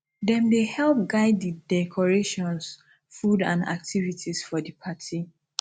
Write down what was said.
them dey help guide di decorations food and activities for di party